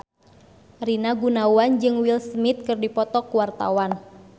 Rina Gunawan jeung Will Smith keur dipoto ku wartawan